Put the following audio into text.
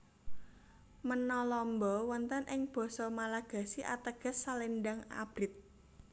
Menalamba wonten ing basa Malagasi ateges selendang abrit